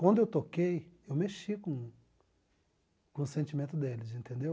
Quando eu toquei, eu mexi com com o sentimento deles, entendeu?